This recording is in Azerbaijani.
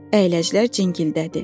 Əyləclər cingildədi.